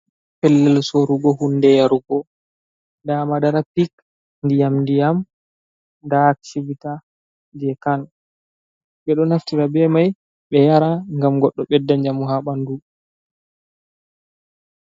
Pellel soorugo hunde yarugo, nda madara pik ndiyam-ndiyam, nda chivita je khan, ɓe ɗo naftira be mai ɓe yara, ngam goɗɗo ɓedda njamu ha ɓandu.